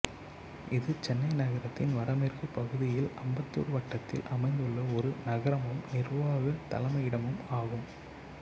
இது சென்னை நகரத்தின் வடமேற்கு பகுதியில் அம்பத்தூர் வட்டத்தில் அமைந்துள்ள ஒரு நகரமும் நிர்வாகத் தலைமையிடமும் ஆகும்